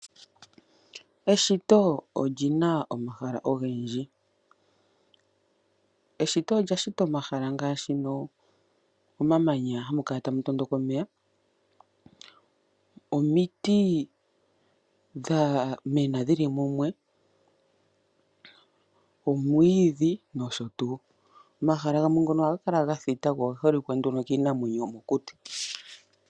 Eshito oli na omahala ogendji. Meshito omu na omahala ngaashi omamanya moka hamu kala tamu tondoka omeya, omiti dha mena dhi li mumwe, omwiidhi nosho tuu. Omahala ngono ohaga kala ga thita mo omuholike nduno kiinamwenyo yomokuti.